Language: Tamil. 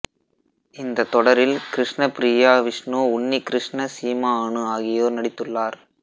இந்த தொடரில் கிருஷ்ண பிரியா விஷ்ணு உன்னிகிருஷ்ண சீமா அனு ஆகியோர் நடித்துள்ளார்